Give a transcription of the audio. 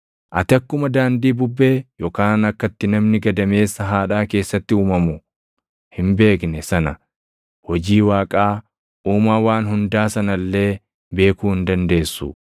Ati akkuma daandii bubbee, yookaan akka itti namni gadameessa haadhaa keessatti uumamu // hin beekne sana, hojii Waaqaa, Uumaa waan hundaa sana illee beekuu hin dandeessu.